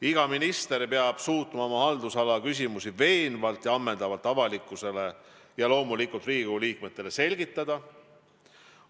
Iga minister peab suutma oma haldusala küsimusi veenvalt ja ammendavalt avalikkusele ja loomulikult Riigikogu liikmetele selgitada.